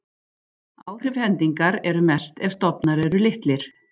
Áhrif hendingar eru mest ef stofnar eru litlir.